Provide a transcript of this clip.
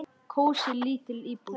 Kósí, lítil íbúð.